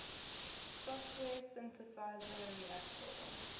software synthesizer reaktor